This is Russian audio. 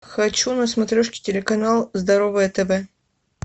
хочу на смотрешке телеканал здоровое тв